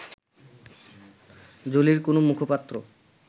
জোলির কোনো মুখপাত্র